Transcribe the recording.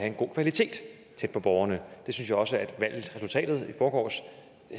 en god kvalitet tæt på borgerne det synes jeg også at valgresultatet i forgårs